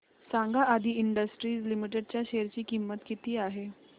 सांगा Adi industries limited च्या share ची किंमत किती आहे